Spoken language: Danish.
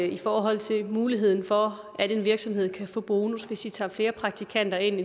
i forhold til muligheden for at en virksomhed kan få bonus hvis de tager flere praktikanter ind